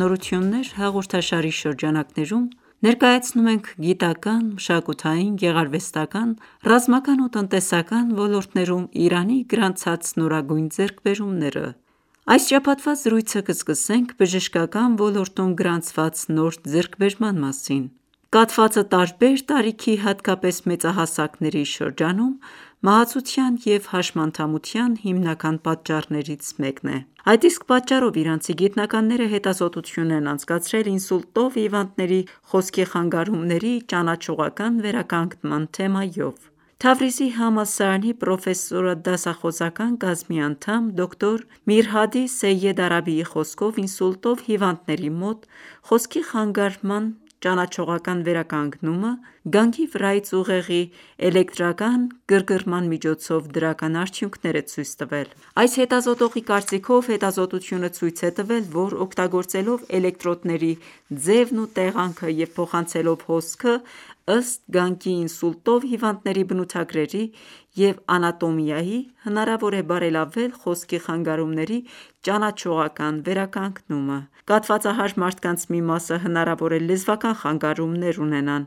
«Նորություններ» հաղորդաշարի շրջանակներում, ներկայացնում ենք գիտական, մշակութային, գեղարվեստական, ռազմական ու տնտեսական ոլորտներում Իրանի գրանցած նորագույն ձեռքբերումները։ Այս շաբաթվա զրույցը կսկսենք բժշկական ոլորտում գրանցված նոր ձեռքբերման մասին: Կաթվածը տարբեր տարիքի, հատկապես մեծահասակների շրջանում մահացության և հաշմանդամության հիմնական պատճառներից մեկն է: Այդ իսկ պատճառով իրանցի գիտնականները հետազոտություն են անցկացրել՝ ինսուլտով հիվանդների խոսքի խանգարումների ճանաչողական վերականգնման թեմայով: Թավրիզի համալսարանի պրոֆեսորադասախոսական կազմի անդամ՝ դոկտոր Միրհադի Սեյեդ Արաբիի խոսքով, ինսուլտով հիվանդների մոտ խոսքի խանգարման (աֆազիա) ճանաչողական վերականգնումը գանգի վրայից ուղեղի էլեկտրական գրգռման միջոցով դրական արդյունքներ է ցույց տվել: Այս հետազոտողի կարծիքով, հետազոտությունը ցույց է տվել, որ օգտագործելով էլեկտրոդների ձևն ու տեղանքը և փոխանցելով հոսքը՝ ըստ գանգի ինսուլտով հիվանդների բնութագրերի և անատոմիայի, հնարավոր է բարելավել խոսքի խանգարումների ճանաչողական վերականգնումը: Կաթվածահար մարդկանց մի մասը հնարավոր է լեզվական խանգարումներ (աֆազիա) ունենան,